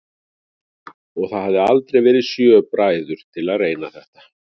Og það hafa aldrei verið sjö bræður til að reyna þetta?